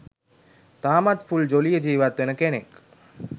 තාමත් ෆුල් ජොලියේ ජීවත් වෙන කෙනෙක්.